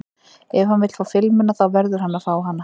Ef hann vill fá filmuna þá verður hann að fá hana.